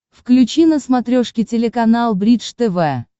включи на смотрешке телеканал бридж тв